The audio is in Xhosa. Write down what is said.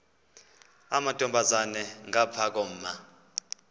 amantombazana ngapha koma